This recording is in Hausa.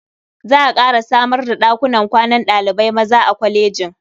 Za a ƙara samar da ɗakunan kwanan ɗalibai maza a kwalejin.